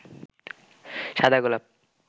সাদা গোলাপ